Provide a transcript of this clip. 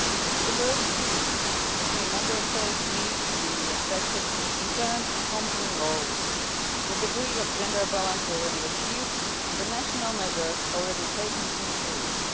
The diversity between Member States needs to be respected in term of company law, the degree of gender balance already achieved and the national measures already taken to improve